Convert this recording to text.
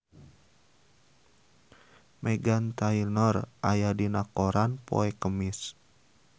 Meghan Trainor aya dina koran poe Kemis